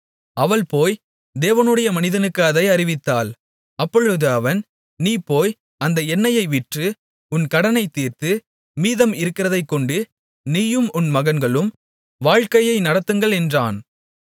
அவள் போய் தேவனுடைய மனிதனுக்கு அதை அறிவித்தாள் அப்பொழுது அவன் நீ போய் அந்த எண்ணெயை விற்று உன் கடனைத் தீர்த்து மீதம் இருக்கிறதைக்கொண்டு நீயும் உன் மகன்களும் வாழக்கையை நடத்துங்கள் என்றான்